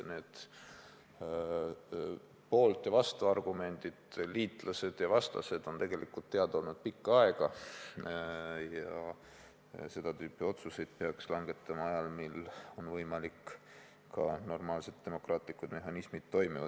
Need poolt- ja vastuargumendid, liitlased ja vastased on teada olnud pikka aega ja seda tüüpi otsuseid peaks langetama ajal, kui on võimalik normaalsete demokraatlike mehhanismide toimimine.